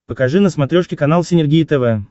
покажи на смотрешке канал синергия тв